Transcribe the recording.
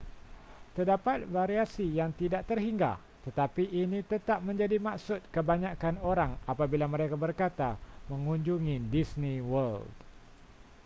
terdapat variasi yang tidak terhingga tetapi ini tetap menjadi maksud kebanyakan orang apabila mereka berkata mengunjungi disney world